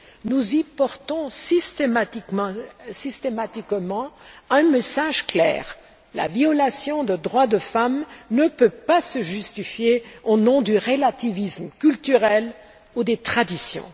Nous y portons systématiquement un message clair la violation des droits des femmes ne peut pas se justifier au nom du relativisme culturel ou des traditions.